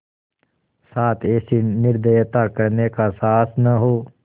साथ ऐसी निर्दयता करने का साहस न हो